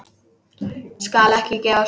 Skal ekki gefast upp.